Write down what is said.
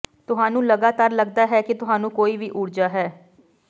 ਤੁਹਾਨੂੰ ਲਗਾਤਾਰ ਲੱਗਦਾ ਹੈ ਕਿ ਤੁਹਾਨੂੰ ਕੋਈ ਵੀ ਊਰਜਾ ਹੈ